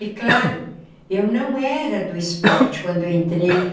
E, claro, eu não era do esporte quando eu entrei.